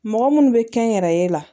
Mɔgɔ munnu bɛ kɛnyɛrɛye la